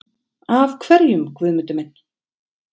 Af hverjum, Guðmundur minn?